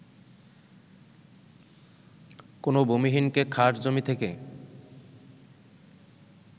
কোনো ভূমিহীনকে খাস জমি থেকে